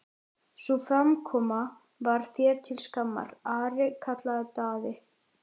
Sú framkoma var þér til skammar, Ari, kallaði Daði.